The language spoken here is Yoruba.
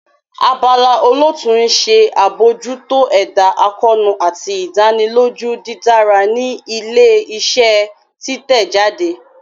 Abala olootu n ṣe abojuto ẹda akoonu ati idaniloju didara ni ile-iṣẹ titẹjade.